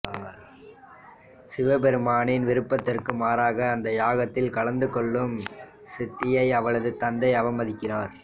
சிவபெருமானின் விருப்பத்திற்கு மாறாக அந்த யாகத்தில் கலந்து கொள்ளும் சதியை அவளது தந்தை அவமதிக்கிறார்